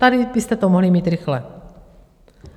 Tady byste to mohli mít rychle.